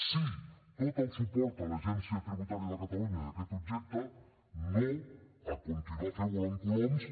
sí tot el suport a l’agència tributària de catalunya en aquest objecte no a continuar fent volar coloms